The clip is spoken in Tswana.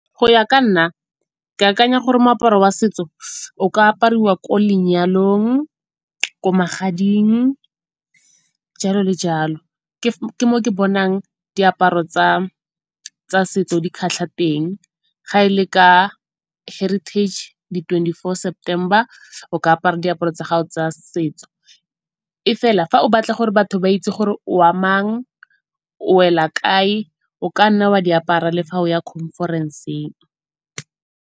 Go ya ka nna ke akanya gore moaparo wa setso o ka apariwa ko lenyalong, ko magading, jalo le jalo. Ke mo ke bonang diaparo tsa setso di kgatlha teng, ga e le ka heritage di twenty-four September o ka apara diaparo tsa gago tsa setso. E fela fa o batla gore batho ba itse gore o wa mang, o wela kae o kanna wa di apara le fa o ya conference-ng.